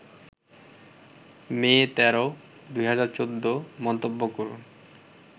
মে ১৩, ২০১৪ মন্তব্য করুন